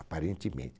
Aparentemente.